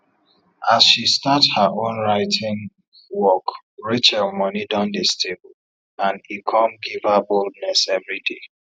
as she start her own writing workrachel money don dey stable and e come give her boldness everyday